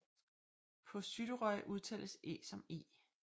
På Suðuroy udtales æ som e